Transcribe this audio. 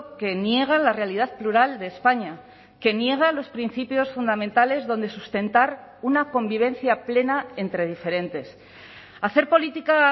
que niega la realidad plural de españa que niega los principios fundamentales donde sustentar una convivencia plena entre diferentes hacer política